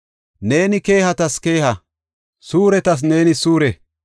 Neeni keehatas keeha; suuretas neeni suure.